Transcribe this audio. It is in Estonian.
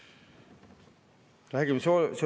Aivar Kokk, palun!